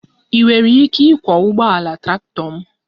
Ị nwere ike ịkwọ ụgbọala traktọ m?